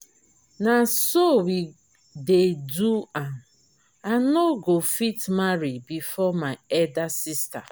na so we dey do am i no go fit marry before my elder sister